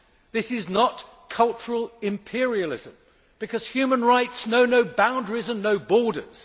This is not cultural imperialism because human rights know no boundaries and no borders.